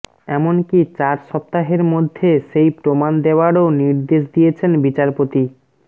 এমনকি চার সপ্তাহের মধ্যে সেই প্রমাণ দেওয়ারও নির্দেশ দিয়েছেন বিচারপতি